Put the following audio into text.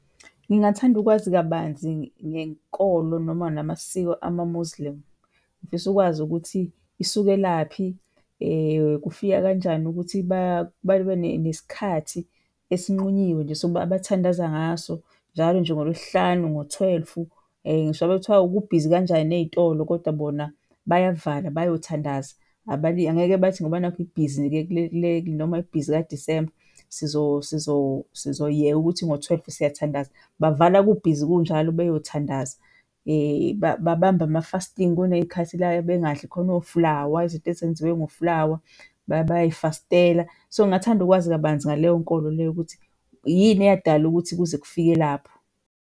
Ngingathanda ukwazi kabanzi ngenkolo noma namasiko ama-Muslim. Ngifisa ukwazi ukuthi isukelaphi kufika kanjani ukuthi babe nesikhathi esinqunyiwe nje sokuba abathandaze ngaso njalo nje ngoLwesihlanu ngo-twelve, ngisho ngabe kuthiwa kubhizi kanjani ey'tolo kodwa bona bayavala bayothandaza. Angeke bathi ngoba nakhu kubhizi noma ibhizi ka-December, sizoyeka ukuthi ngo-twelve siyathandaza, bavala kubhizi kunjalo beyothandaza. Babamba ama-fasting, kuney'khathi la bengadli khona oflawa, izinto ezenziwe ngoflawa, bayay'fastela so ngingathanda ukwazi kabanzi ngaleyo nkolo leyo ukuthi yini eyadala ukuthi kuze kufike lapho.